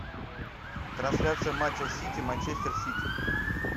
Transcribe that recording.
трансляция матча сити манчестер сити